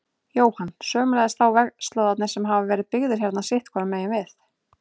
Jóhann: Sömuleiðis þá vegslóðarnir sem hafa verið byggðir hérna sitthvoru megin við?